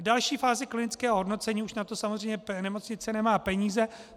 V další fázi klinického hodnocení už na to samozřejmě nemocnice nemá peníze.